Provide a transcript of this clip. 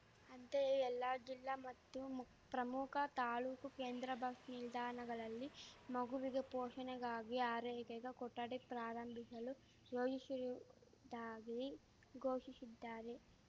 ಅಂತೆಯೆ ಎಲ್ಲ ಜಿಲ್ಲಾ ಮತ್ತು ಮು ಪ್ರಮುಖ ತಾಲೂಕು ಕೇಂದ್ರ ಬಸ್‌ ನಿಲ್ದಾಣಗಳಲ್ಲಿ ಮಗುವಿಗೆ ಪೋಷಣೆಗಾಗಿ ಆರೈಕೆಗೆ ಕೊಠಡಿ ಪ್ರಾರಂಭಿಶಲು ಯೋಜಿಶಿರುವುದಾಗಿ ಘೋಷಿಶಿದ್ದಾರೆ